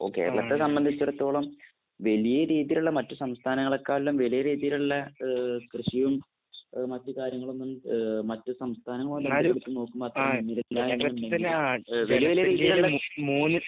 Okay. അതൊക്കെ സംബന്ധിച്ചിടത്തോളം വലിയ രീതിയിലുള്ള മറ്റു സംസ്ഥാനങ്ങളെക്കാളും വലിയ രീതിയിലുള്ള ഏഹ് കൃഷിയും അങ്ങനത്തെ കാര്യങ്ങളൊന്നും ഏഹ് മറ്റു സംസ്ഥാനങ്ങളെ വെച്ച് നോക്കുമ്പോൾ അത്ര ഗംഭീരമായിട്ട്